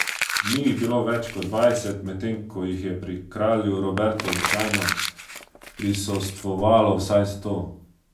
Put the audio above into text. Ni jih bilo več kot dvajset, medtem ko jih je pri kralju Robertu običajno prisostvovalo vsaj sto.